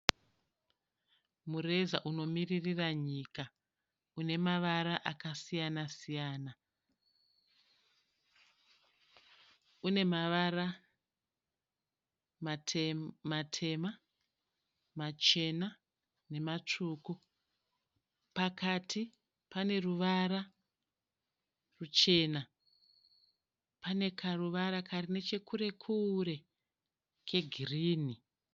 Mureza unomiririra nyika une mavara akasiyana siyana. Une mavara matema, machena nematsvuku. Pakati pane ruvara ruchena. Pane karuvara kari nechekure kure kegirinhi.